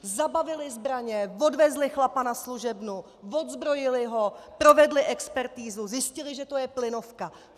Zabavili zbraně, odvezli chlapa na služebnu, odzbrojili ho, provedli expertizu, zjistili, že to je plynovka.